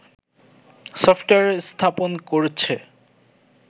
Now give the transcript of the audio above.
software স্থাপন করছে